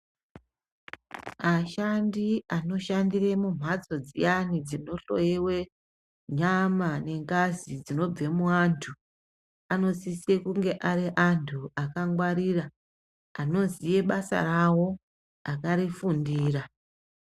Ashandi anoshandira mumhatso dziyani dzinohloyiwa nyama nengazi dzinobve muvantu anosise kunge ari antu akangwarira anoziya basa rawo akarifundira.